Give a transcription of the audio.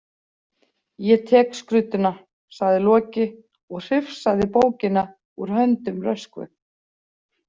Ég tek skrudduna, sagði Loki og hrifsaði bókina úr höndum Röskvu.